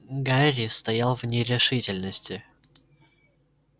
гарри стоял в нерешительности